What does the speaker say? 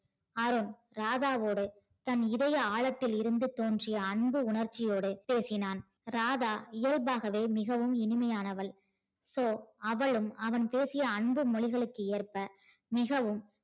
அருண் ராதாவோடு தன் இதய ஆழத்தில் இருந்து தோன்றிய அன்பு உணர்ச்சியோடு பேசினான் ராதா இயல்பாகவே மிகவும் இனிமையானவள் so அவளும் அவன் பேசிய அன்பு மொழிகளுக்கு ஏற்ப மிகவும்